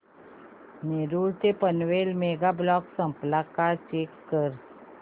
नेरूळ ते Panvel mega block संपला का चेक कर